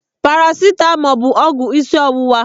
Paracitamọl bụ ọgwụ isi ọwụwa.